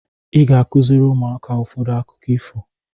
Ị ga-akụziri ụmụaka ụfọdụ akụkọ ifo.